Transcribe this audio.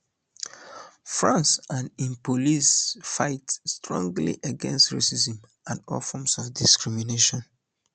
france and im police fight strongly against racism and all forms of discrimination